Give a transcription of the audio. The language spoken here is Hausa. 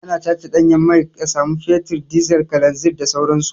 Ana tace ɗanyen mai a samu fetur, dizal, kalanzin da sauran su.